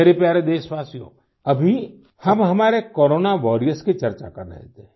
मेरे प्यारे देशवासियों अभी हम हमारे कोरोना वॉरियर्स की चर्चा कर रहे थे